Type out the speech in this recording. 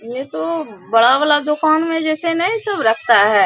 ये तो बड़ा वाला दुकान में जैसे नहीं सब रखता है --